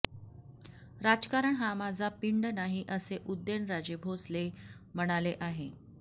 राजकारण हा माझा पिंड नाही असे उदयन राजे भोसले म्हणाले आहे